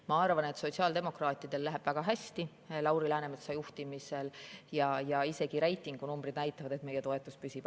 Ma arvan, et sotsiaaldemokraatidel läheb Lauri Läänemetsa juhtimisel väga hästi, ja isegi reitingunumbrid näitavad, et meie toetus püsib.